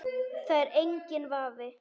Það er enginn vafi.